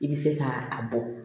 I bɛ se ka a bɔ